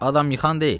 Adam yıxan deyil.